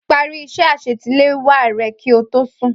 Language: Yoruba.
Parí iṣẹ́ àṣetiléwá rẹ kí o tó sùn.